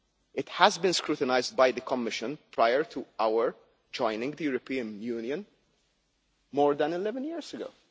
It has been scrutinised by the Commission prior to our joining the European Union more than 11 years ago.